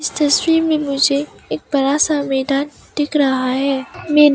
इस तस्वीर में मुझे एक बड़ा सा मैदान दिख रहा है मैदान--